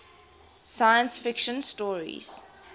science fiction stories